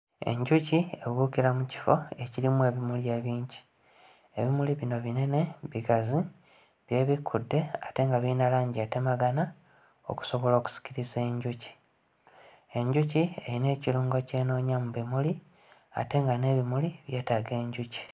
Abaana batudde mu kibiina, wabula ng'abamu buli omu atunudde wuwe. Abamu batunudde eri ky'emmanga balaga balina bye balaba, kati ate bano ababiri abasooka wano batunudde mu kkamera. Baali batunuulira oyo ali mu bbakuba ekifaananyi.